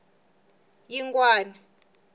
yingwani